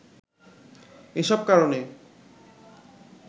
এসব কারনে